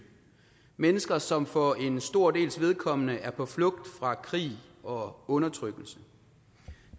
mennesker som for en stor dels vedkommende er på flugt fra krig og undertrykkelse